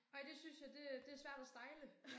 Ej det synes det øh det svært at style